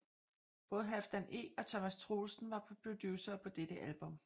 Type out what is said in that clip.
Både Halfdan E og Thomas Troelsen var producere på dette album